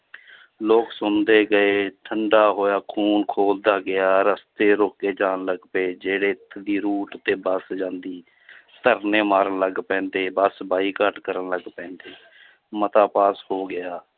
ਲੋਕ ਸੁਣਦੇ ਗਏ ਠੰਢਾ ਹੋਇਆ ਖੂਨ ਖੋਲਦਾ ਗਿਆ, ਰਸਤੇ ਰੋਕੇ ਜਾਣ ਲੱਗ ਪਏ ਜਿਹੜੇ route ਤੇ ਬੱਸ ਜਾਂਦੀ ਧਰਨੇ ਮਾਰਨ ਲੱਗ ਪੈਂਦੇ ਬਸ ਬਾਈਕਾਟ ਕਰਨ ਲੱਗ ਪੈਂਦੀ ਮਤਾ ਪਾਸ ਹੋ ਗਿਆ l